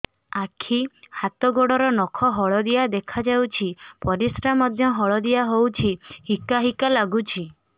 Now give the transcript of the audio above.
ଆଖି ହାତ ଗୋଡ଼ର ନଖ ହଳଦିଆ ଦେଖା ଯାଉଛି ପରିସ୍ରା ମଧ୍ୟ ହଳଦିଆ ହଉଛି ହିକା ହିକା ଲାଗୁଛି